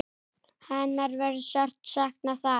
Hennar verður sárt saknað þar.